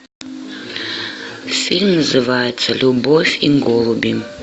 фильм называется любовь и голуби